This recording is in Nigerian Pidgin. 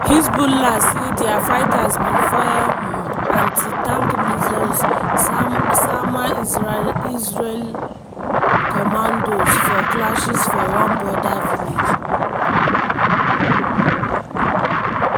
hezbollah say dia fighters bin fire um anti-tank missiles sama israeli commados for clashes for one border village.